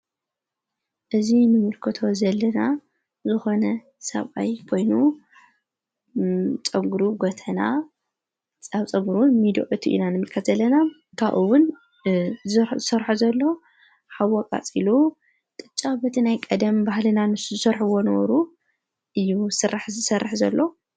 እዙ ንምልኮቶ ዘለና ዝኾነ ሰብኣይ ኮይኑ ጸጕሩ ጐተና ፃብ ፀጕሩን ሚድኦቲ ኢናንሚከዘለና ካኡውን ሠርሖ ዘሎ ሓወቓ ጺሉ ቅጫ በቲ ናይ ቀደም ባህልና ንሱ ዝሠርሕዎ ነበሩ እዩ ሠራሕ ሠርሕ ዘሎ